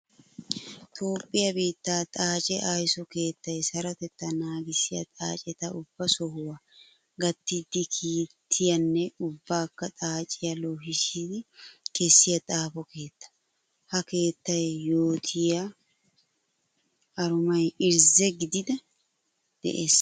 Toophphiya biitte xaace aysso keettay sarotetta naagissiya xaacetta ubba sohuwa gatiddi kiitiyanne ubbakka xaaciya loohissiddi kessiya xaafo keetta. Ha keettaa yootiya arumay irzzi gididdi de'ees.